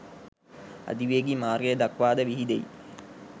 අධිවේගී මාර්ගය දක්වා ද විහිදෙයි